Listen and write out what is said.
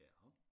Ja?